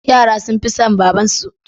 Yara sun fi son babarsu.